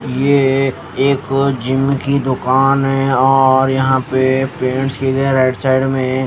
ये ए एक जिम की दुकान है और यहां पे पेंट्स की गई हैं राइट साइड में--